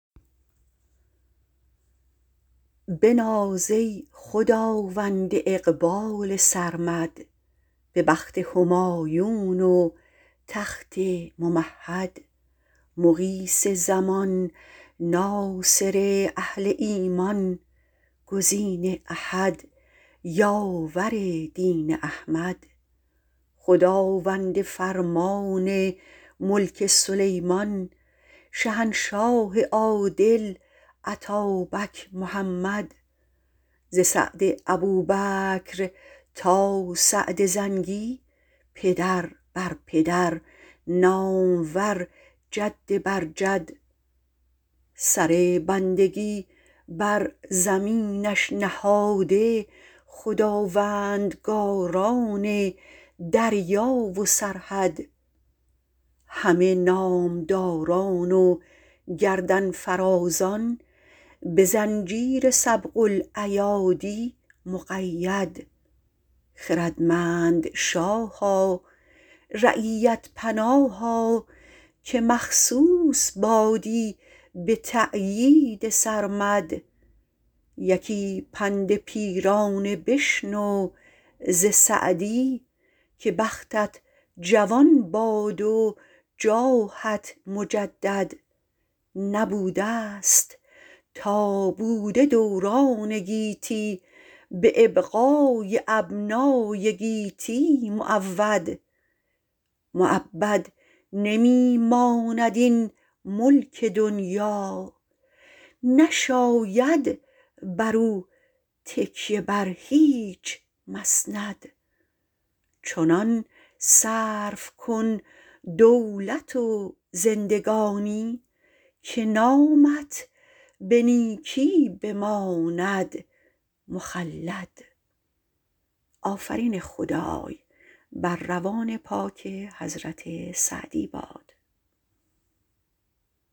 بناز ای خداوند اقبال سرمد به بخت همایون و تخت ممهد مغیث زمان ناصر اهل ایمان گزین احد یاور دین احمد خداوند فرمان ملک سلیمان شهنشاه عادل اتابک محمد ز سعد ابوبکر تا سعد زنگی پدر بر پدر نامور جد بر جد سر بندگی بر زمینش نهاده خداوندگاران دریا و سرحد همه نامداران و گردن فرازان به زنجیر سبق الایادی مقید خردمند شاها رعیت پناها که مخصوص بادی به تأیید سرمد یکی پند پیرانه بشنو ز سعدی که بختت جوان باد و جاهت مجدد نبودست تا بوده دوران گیتی به ابقای ابنای گیتی معود مؤبد نمی ماند این ملک دنیا نشاید بر او تکیه بر هیچ مسند چنان صرف کن دولت و زندگانی که نامت به نیکی بماند مخلد